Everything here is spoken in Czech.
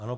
Ano.